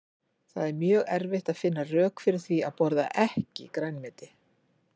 Það er mjög erfitt að finna rök fyrir því að borða EKKI grænmeti.